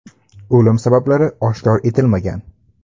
O‘lim sabablari oshkor etilmagan.